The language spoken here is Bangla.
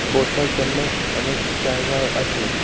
বসার জন্য অনেক জায়গাও আছে।